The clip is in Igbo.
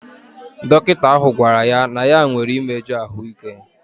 Dọkịta ahụ gwara ya na ya nwere imeju ahụike.